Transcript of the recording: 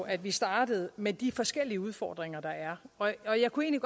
at vi startede med de forskellige udfordringer der er og og jeg kunne